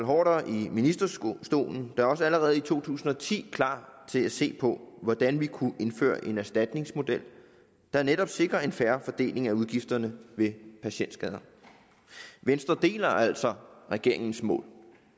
haarder i ministerstolen da også allerede i to tusind og ti klar til at se på hvordan vi kunne indføre en erstatningsmodel der netop sikrede en fair fordeling af udgifterne ved patientskader venstre deler altså regeringens mål